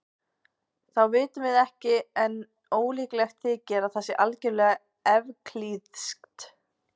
Það vitum við ekki en ólíklegt þykir að það sé algjörlega evklíðskt.